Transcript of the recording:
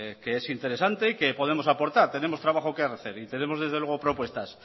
que es interesante y que podemos aportar tenemos trabajo que hacer y tenemos desde luego propuestas